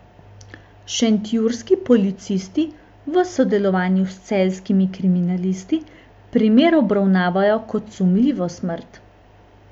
Šentjurski policisti v sodelovanju s celjskimi kriminalisti primer obravnavajo kot sumljivo smrt.